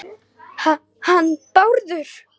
Ha- hann Bárður?